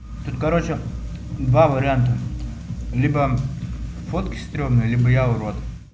тут короче два варианта либо фотки стрёмные либо я урод